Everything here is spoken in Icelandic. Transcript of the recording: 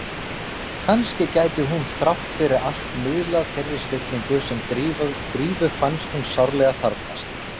Kannski gæti hún þrátt fyrir allt miðlað þeirri stillingu sem Drífu fannst hún sárlega þarfnast.